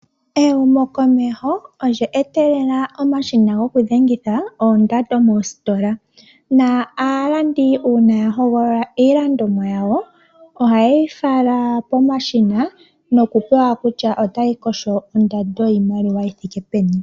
Ehumokomeho olye etelela omashina gokudhengitha oondando moositola. Aalandi uuna yahogolola iilandomwa yawo, ohaye yi fala pomashina nokupewa kutya otayi kosho ondando yiimaliwa yithike peni.